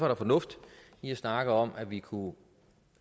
der fornuft i at snakke om at vi kunne